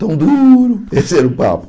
Tão duro esse era o papo.